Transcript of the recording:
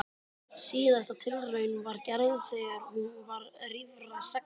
Síðasta tilraunin var gerð þegar hún var rífra sextán ára.